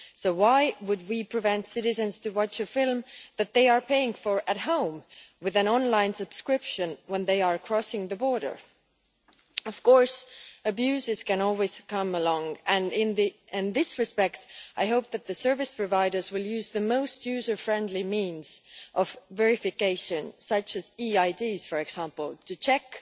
So why would we prevent citizens from watching a film that they are paying for at home with an online subscription when they are crossing the border? Abuses can always come along, and in this respect I hope that the service providers will use the most user friendly means of verification, such as e IDs for example, to check